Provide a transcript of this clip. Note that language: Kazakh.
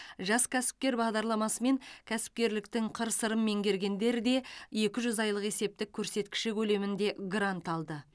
жас кәсіпкер бағдарламасымен кәсіпкерліктің қыр сырын меңгергендер де екі жүз айлық есептік көрсеткіші көлемінде грант алды